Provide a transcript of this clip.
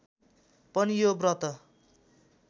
पनि यो व्रत